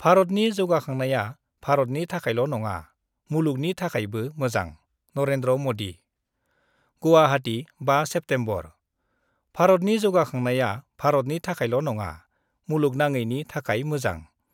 भारतनि जौगाखांनाया भारतनि थाखायल' नङा, मुलुगनि थाखायबो मोजां : नरेन्द्र मदि गुवाहाटी, 5 सेप्तेम्बर : भारतनि जौगाखांनाया भारतनि थाखायल' नङा, मुलुगनाङैनि थाखाय मोजां।